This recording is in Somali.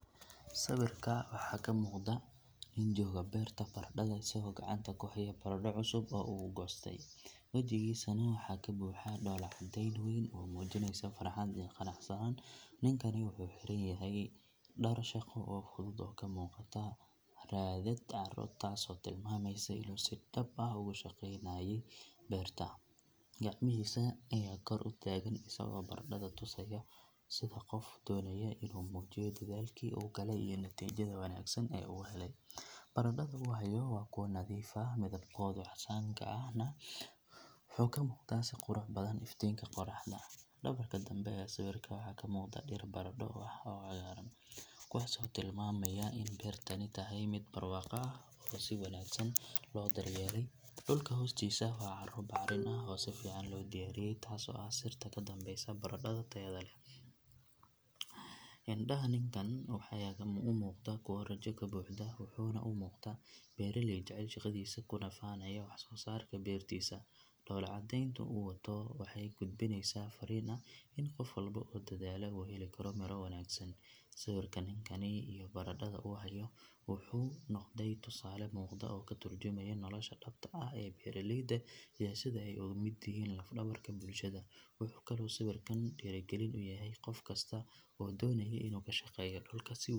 Sawirka waxaa ka muuqda nin jooga beerta baradhada isagoo gacanta ku haya baradho cusub oo uu goostay, wajigiisana waxaa ka buuxa dhoolla caddeyn weyn oo muujinaysa farxad iyo qanacsanaan. Ninkani wuxuu xiran yahay dhar shaqo oo fudud oo ka muuqata raadad carro taasoo tilmaamaysa inuu si dhab ah uga shaqeynayay beerta. Gacmihiisa ayaa kor u taagan isagoo baradhada tusaya sida qof doonaya inuu muujiyo dadaalkii uu galay iyo natiijada wanaagsan ee uu helay. Baradhada uu hayo waa kuwo nadiif ah, midabkooda casaanka ahna wuxuu ka muuqdaa si qurux badan iftiinka qorraxda. Dhabarka dambe ee sawirka waxaa ka muuqda dhir baradho ah oo cagaaran, kuwaasoo tilmaamaya in beertani tahay mid barwaaqo ah oo si wanaagsan loo daryeelay. Dhulka hoostiisa waa carro bacrin ah oo si fiican loo diyaariyay taasoo ah sirta ka dambeysa baradhada tayada leh. Indhaha ninkan ayaa u muuqda kuwo rajo ka buuxdo, wuxuuna u muuqdaa beeraley jecel shaqadiisa kuna faanaya wax soo saarka beertiisa. Dhoolla caddeynta uu wato waxay gudbinaysaa farriin ah in qof walba oo dadaala uu heli karo miro wanaagsan. Sawirka ninkan iyo baradhada uu hayo wuxuu noqday tusaale muuqda oo ka tarjumaya nolosha dhabta ah ee beeraleyda iyo sida ay uga mid yihiin laf dhabarka bulshada. Wuxuu kaloo sawirkan dhiirrigelin u yahay qof kasta oo doonaya inuu ka shaqeeyo dhulka si uu.